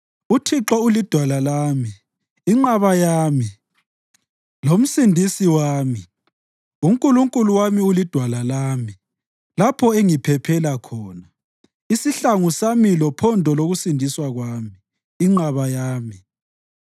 UThixo ulidwala lami, inqaba yami, lomsindisi wami; uNkulunkulu wami ulidwala lami, lapho engiphephela khona, isihlangu sami lophondo lokusindiswa kwami, inqaba yami.